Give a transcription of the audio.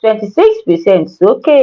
twenty six percent sókè.